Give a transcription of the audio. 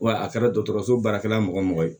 Wa a kɛra dɔgɔtɔrɔso baarakɛla mɔgɔ o mɔgɔ ye